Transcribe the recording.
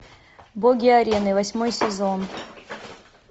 боги арены восьмой сезон